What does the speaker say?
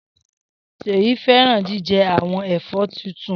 Seyi fẹràn jijẹ awọn ẹfọ titun.